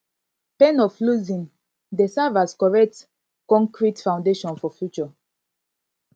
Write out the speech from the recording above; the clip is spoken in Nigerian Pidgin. pain of losing dey serve as correct konkrete foundation for future